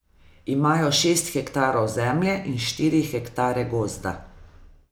Imajo šest hektarov zemlje in štiri hektare gozda.